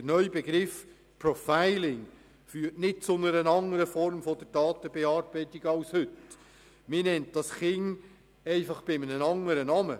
Der neue Begriff Profiling führt nicht zu einer anderen Form der Datenbearbeitung als heute, man nennt das Kind nur bei einem anderen Namen.